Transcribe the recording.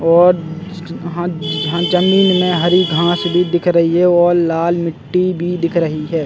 और यहाँ यहाँ जमीन मे हरी घास भी दिख रही है और लाल मिट्टी भी दिख रही है।